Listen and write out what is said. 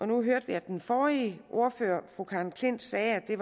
nu hørte vi at den forrige ordfører fru karen klint sagde at det